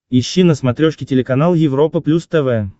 ищи на смотрешке телеканал европа плюс тв